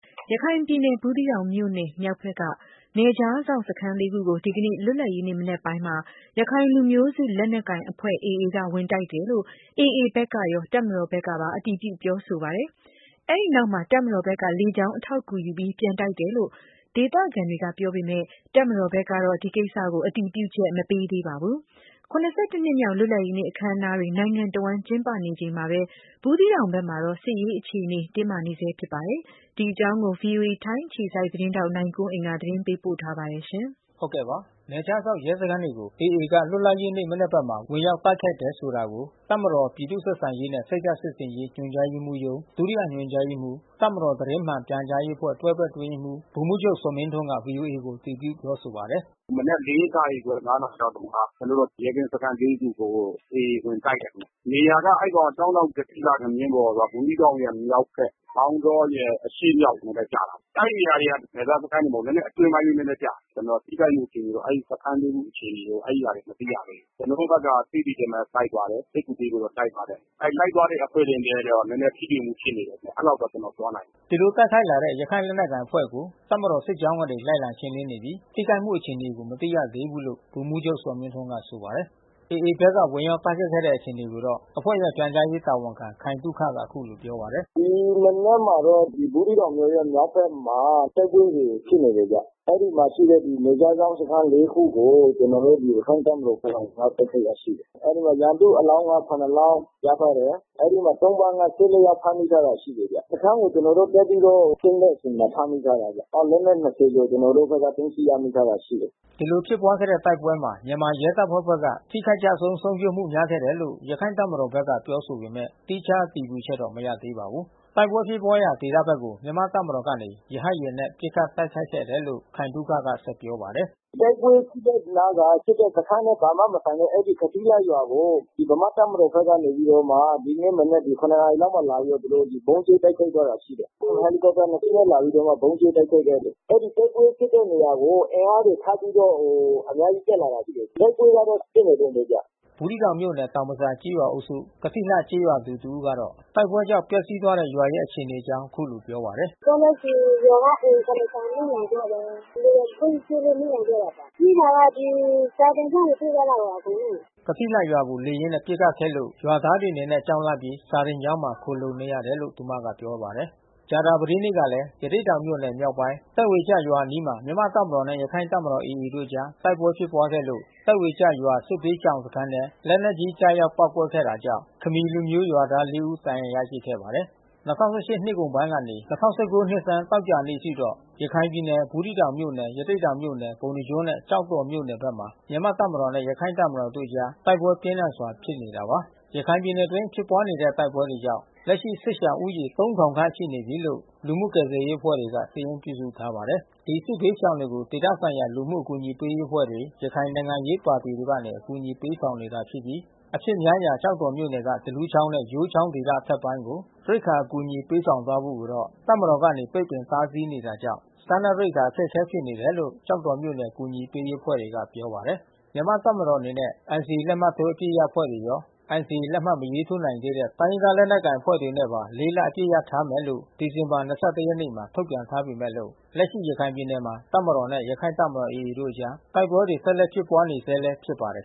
ရခိုင်ပြည်နယ်၊ ဘူးသီးတောင်မြို့နယ်မြောက်ဘက်က နယ်ခြားစောင့်စခန်းလေးခုကို ဒီကနေ့ လွတ်လပ်ရေးနေ့ မနက်ပိုင်းမှာ ရခိုင်လူမျိုးစု လက်နက်ကိုင်အဖွဲ့ AA က ဝင်တိုက်တယ်လို့ AA ဘက် ကရော တပ်မတော်ဘက်ကပါ အတည်ပြုပါတယ်။ အဲဒီနောက်မှာ တပ်မတော်ဘက်က လေကြောင်း အထောက်အကူယူပြီး ပြန်တိုက်ခိုက်တယ်လို့ ဒေသခံတွေကပြောပေမယ့် တပ်မတော်ဘက်ကတော့ အဲဒီကိစ္စကို အတည်ပြုချက် မပေးသေးပါဘူး။ ၇၁ နှစ်မြောက် လွတ်လပ်ရေးနေ့ အခန်းအနားတွေ နိုင်ငံတဝန်းကျင်းပနေချိန်မှာပဲ ဘူးသီးတောင်ဘက်မှာတော့ စစ်ရေးအခြေအနေ တင်းမာနေဆဲပါ။ ဒီအကြောင်း ဗွီအိုအေ ထိုင်း အခြေစိုက်သတင်းထောက် နိုင်ကွန်းအိမ်က သတင်းပေးပို့ထားပါတယ်။ နယ်ခြားစောင့်ရဲစခန်းတွေကို AA က လွတ်လပ်ရေးနေ့ မနက်ဘက်မှာ ဝင်တိုက်တယ်ဆိုတာကို တပ်မတော်၊ ပြည်သူ့ ဆက်ဆံရေးနှင့်စိတ်ဓာတ်စစ်ဆင်ရေး ညွှန်ကြားရေးမှူးရုံး ဒုတိယ ညွှန်ကြား ရေးမှူး၊ တပ်မတော် သတင်းမှန်ပြန်ကြားရေးအဖွဲ့ တွဲဘက်အတွင်းရေးမှူး ဗိုလ်မှူးချုပ်ဇော်မင်းထွန်းက ဗွီအိုအေကိုအတည်ပြုပြောဆိုပါတယ်။ “မနက် နာရီခွဲ နာရီလောက်က ကျနော်တို့ရဲကင်းစခန်း ခုကို AA ဝင်တိုက်တယ်ခင်ဗျ။ နေရာက ကျောင်းတောင်ကထိလှ၊ ငမြင်းဘော်က ဘူးသီးတောင်ရဲ့မြောက်ဖက် မောင်တောရဲ့ အရှေ့မြောက်မှာသွားကျတာပေါ့။ အဲဒီ ဟာတွေကနယ်စပ်စခန်းတွေမဟုတ်ဘူး။ အတွင်းပိုင်း နည်းနည်းကျနေတယ်။ ကျနော်ထိခိုက်မှုအခြေအနေ စခန်းတွင်းအခြေအနေ အဲဒီဟာတွေ မသိရ သေးဘူး။ ကျနော်တို့ဘက်က သိသိချင်းပဲ လိုက်ပါတယ်။ စစ်ကူပေးဖို့တော့လိုက်ပါတယ်။ အဲ လိုက်သွားတဲ့အဖွဲ့တွေနဲ့ နည်းနည်းထိတွေ့မှုဖြစ်နေတယ်ဗျ။ အဲဒီလောက်ပဲ ကျနော်ပြောနိုင်တယ်။” အဲဒီလို တိုက်ခိုက်လာတဲ့ ရခိုင့်လက်နက်ကိုင်အဖွဲ့ကို တပ်မတော်စစ်ကြောင်းကနေ လိုက်လံရှင်းလင်း နေပြီး ထိခိုက်မှုအခြေ အနေကို မသိရသေးဘူးလို့ ဗိုလ်မှူးချုပ်ဇော်မင်းထွန်းကဆိုပါတယ်။ AA ဘက်က ဝင်ရောက်တိုက်ခိုက်ခဲ့တဲ့အခြေအနေကိုတော့ အဖွဲ့ရဲ့ ပြန်ကြားရေးတာဝန်ခံ ခိုင်သုခက အခုလိုပြောပါတယ်။ “ဒီမနက်မှာတော့ ဘူးသီးတောင်မြို့ရဲ့မြောက်ဖက်မှာ အဲဒီတိုက်ပွဲတွေဖြစ်နေတယ်ဗျ။ အဲဒီမှာရှိတဲ့ နယ်ခြားစောင့် စခန်း ခုကို ကျနော်တို့ရခိုင့်တပ်မတော်ဘက်က သွားတိုက်ခိုက်တာရှိတယ်။ အဲဒီမှာ ရန်သူ့အလောင်းက လောင်းရထားတယ်။ အဲဒီမှာ သုံ့ပန်းက ယောက် ဖမ်းမိ ထားတာ ရှိတယ်။ စခန်းကိုကျနော်တို့သွားပြီးရှင်းတဲ့အချိန်မှာ ဖမ်းမိထားတယ်ဗျ။ လက်နက် ကျော် ကျနော်တို့ဘက်ကသိမ်းဆည်းရထားတာရှိတယ်။” ဒီလိုဖြစ်ပွါးတဲ့တိုက်ပွဲမှာ မြန်မာရဲတပ်ဖွဲ့ဘက်က ထိခိုက်ကျဆုံးဆုံးရှုံးမှုများခဲ့တယ်လို့ ရခိုင့် တပ်မတော် ဘက်က ပြောဆိုပေမယ့် သီးခြားအတည်ပြုချက်တော့ မရသေးပါဘူး။ တိုက်ပွဲဖြစ်ပွါးရာ ကျေးရွာဘက် ကို မြန်မာ့တပ်မတော်ကနေ ရဟတ်ယာဉ်နဲ့ပစ်ခတ် တိုက်ခိုက်ခဲ့တယ်လို့ ခိုင်သုခက ဆက်ပြောပါတယ်။ “တိုက်ပွဲဖြစ်တဲ့နားက ဖြစ်တဲ့စခန်းနဲ့ဘာမှမဆိုင်တဲ့ အဲဒီ ကထိလှရွာကို ဒီဗမာ့တပ်မတော်ဘက်က နေပြီးတော့မှ ဒီကနေ့မနက် နာရီလောက်မှာလာပြီးတော့မှ သူတို့ဗုံးကြဲတိုက်ခိုက်သွားတာရှိတယ်။ ဟယ်လီကော်ပတာ နှစ်စင်းနဲ့လာပြီးဗုံးကြဲတိုက်ခိုက်သွားတယ်။ အဲဒီတိုက်ပွဲဖြစ်ပွါးတဲ့နေရာကို အင်အားတွေ ထပ်ပြီးတော့ အများကြီးတက်လာ တာရှိတယ်။ တိုက်ပွဲကတော့ဖြစ်နေတုန်းဘဲဗျ။” ဘူးသီးတောင်မြို့နယ် တောင်ဘဇာကျေးရွာအုပ်စု ကထိလှကျေးရွာသူတဦးကတော့ တိုက်ပွဲကြောင့် ပျက်စီးသွား တဲ့ရွာရဲ့ အခြေအနေအကြာင်းအခုလိုပြောပါတယ်။ “ပြောမယ်ဆို ရွာကအိမ် ဆောင် မီးလောင်သွားတယ်။ လေယာဉ်ချင်းပစ်လို့မီးလောင်သွားတာပါ။ ပြေးတာကဒီ စာသင်ကျောင်းကိုပြေးသွားတာပါအကုန်လုံးကို” ကထိလှရွာကို လေယာဉ်နဲ့ပစ်ခတ်ခဲ့လို့ ရွာသားတွေအနေနဲ့ကြောက်လန့်ပြီး စာသင်ကျောင်းမှာ ခိုလှုံနေတယ်လို့ သူမက ပြောပါတယ်။ ကြာသာပတေးနေ့ကလည်း ရသေ့တောင်မြို့နယ်မြောက်ပိုင်း၊ သက်ပေကျရွာအနီးမှာ မြန်မာ့ တပ် မတော်နဲ့ ရခိုင့်တပ်မတော် တို့အကြား တိုက်ပွဲဖြစ်ပွားခဲ့လို့ သက်ပေကျရွာ စစ်ဘေးရှောင် စခန်း ထဲ လက်နက်ကြီးကျရောက် ပေါက်ကွဲခဲ့တာကြောင့် ခမီးလူမျိုးရွာသား ၄ ဦး ဒဏ်ရာရရှိခဲ့ ပါတယ်။ ၂၀၁၈ နှစ်ကုန်ပိုင်းကနေ ၂၀၁၉ နှစ်ဆန်းသောကြာနေ့အထိတော့ ရခိုင်ပြည်နယ် ဘူးသီးတောင် မြို့နယ်၊ ရသေ့တောင်၊ ပုဏ္ဏားကျွန်းနဲ့ကျောက်တော်မြို့နယ်ဘက်မှာ မြန်မာ့တပ်မတော်နဲ့ ရခိုင့်တပ် မတော် AA အဖွဲ့တို့အကြား တိုက်ပွဲပြင်း ထန်စွာဖြစ်နေတာပါ။ ရခိုင်ပြည်နယ်အတွင်း ဖြစ်ပွါးနေတဲ့ တိုက်ပွဲတွေကြောင့် လက်ရှိစစ်ရှောင်ဦးရေ ခန့် ရှိနေပြီးလို့ လူမှုကယ်ဆယ်ရေးအဖွဲ့တွေက စာရင်းပြုစုထားပါတယ်။ ဒီစစ်ဘေးရှောင်တွေကို ဒေသဆိုင်ရာလူမှုအကူညီရေးအဖွဲ့တွေ ရခိုင်နိုင်ငံရေးပါတီတွေကနေ အကူညီ ပေးနေကြပြီး အဖြစ်များရာ ကျောက်တော်မြို့နယ်က သလူးချောင်းနဲ့ယိုးချောင်းဒေသ အထက်ပိုင်း ကို ရိက္ခာ အကူညီပေးဆောင်သွားဖို့ကိုတော့ တပ်မတော်ကနေ ပိတ်ပင်တားဆီးနေတာကြောင့် စား နပ် ရိက္ခာအခက်ခဲဖြစ်နေတယ်လို့ ကျောက်တော်မြို့နယ်အကူညီပေးရေးအဖွဲ့တွေက ပြောပါတယ်။ မြန်မာ့တပ်မတော်အနေနဲ့က NCA လက်မှတ်ထိုးအပစ်ရပ်အဖွဲ့ရော NCA လက်မှတ်မထိုးနိုင်သေးတဲ့ တိုင်းရင်းသားလက်နက်ကိုင်အဖွဲ့တွေနဲ့ပါ လ အပစ်ရပ်ထားမယ်လို့ ဒီဇင်ဘာ ၂၁ ရက်နေ့မှာ ထုတ်ပြန်ထားပေမဲ့လို့ လက်ရှိ ရခိုင်ပြည်နယ်မှာ တပ်မတော်နဲ့ ရခိုင့်တပ်မတော် AA တို့အကြား တိုက်ပွဲတွေ ဆက်လက်ဖြစ်ပွါးနေဆဲလည်း ဖြစ်ပါတယ်